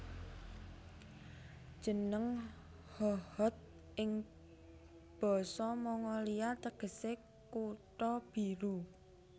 Jeneng Hohhot ing basa Mongolia tegesé Kutha Biru